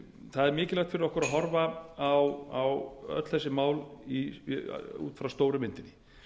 það er mikilvægt fyrir okkur að horfa á öll þessi mál út frá stóru myndinni